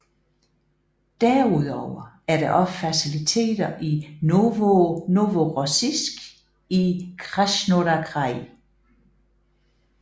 Derudover er der også faciliteter i Novorossijsk i Krasnodar kraj